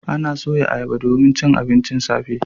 Ana soya ayaba domin cin abincin safe.